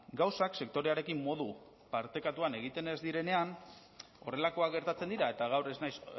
gauzak sektorearekin modu partekatuan egiten ez direnean horrelakoak gertatzen dira eta gaur ez naiz